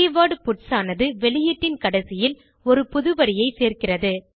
keyword puts ஆனது வெளியீட்டின் கடைசியில் ஒரு புதுவரியை சேர்க்கிறது